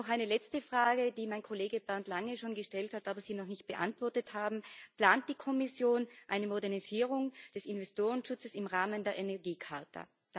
Eine letzte Frage, die mein Kollege Bernd Lange schon gestellt hat, aber die Sie noch nicht beantwortet haben Plant die Kommission eine Modernisierung des Investorenschutzes im Rahmen der Energiecharta?